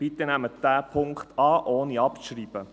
Bitte nehmen Sie diesen Punkt an, ohne abzuschreiben.